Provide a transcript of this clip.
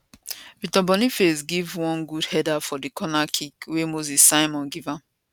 victor boniface give one good header from di corner kick wey moses simon give am